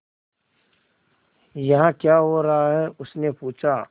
यहाँ क्या हो रहा है उसने पूछा